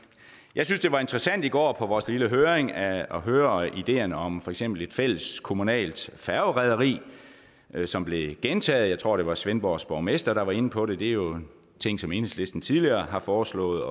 jeg synes det var interessant i går på vores lille høring at høre ideerne om for eksempel et fælleskommunalt færgerederi som blev gentaget jeg tror det var svendborgs borgmester der var inde på det det er jo ting som enhedslisten tidligere har foreslået